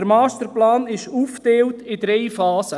– Der Masterplan ist aufgeteilt in drei Phasen.